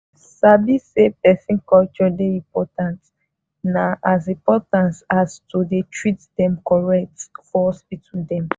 sabi say person culture dey important na as important as to dey treat dem correct for hospital dem.